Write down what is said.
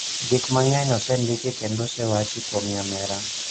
Gik mang�eny osendiki kendo osewachi kuom nyamera.